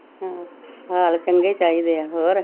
ਹਾਲ ਚੰਗੇ ਚਾਹੀਦੇ ਆ ਹੋਰ